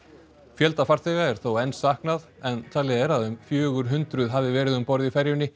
fjölda farþega er þó enn saknað en talið er að um fjögur hundruð hafi verið um borð í ferjunni